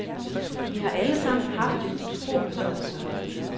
Vi har alle sammen haft det utroligt sjovt sammen.